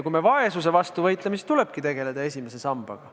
Kui me vaesuse vastu võitleme, siis tuleb tegeleda esimese sambaga.